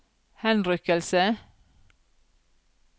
henrykkelse